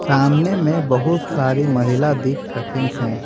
सामने में बहुत सारी महिला दिख रही हैं।